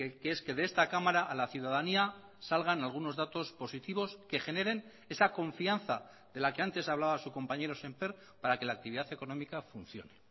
que es que de esta cámara a la ciudadanía salgan algunos datos positivos que generen esa confianza de la que antes hablaba su compañero sémper para que la actividad económica funcione